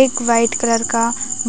एक white colour का